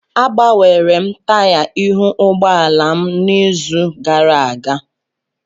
Agbanwere m taya ihu ụgbọ ala m n'izu gara aga